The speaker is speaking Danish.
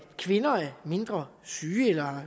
kvinder er mindre syge eller har